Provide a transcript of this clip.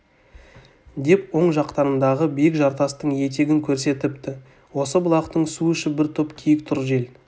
деп оң жақтарындағы биік жартастың етегін көрсетіпті осы бұлақтан су ішіп бір топ киік тұр жел